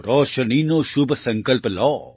રોશનીનો શુભ સંકલ્પ લો